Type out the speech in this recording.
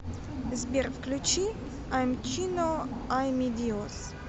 сбер включи аймчино ай ми диос